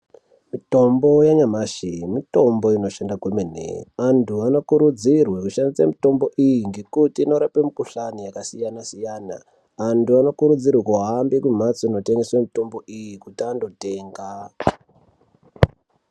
Mitombo yanyamashi mitombo inoshanda kwemene antu anokurudzirwa kushandisa mitombo iyi ngekuti inorapa mikuhlani yakasiyana-siyana. Antu anokurudzirwa kuhambe kumbatso inotengeswa mitombo iyi kuti andotenga.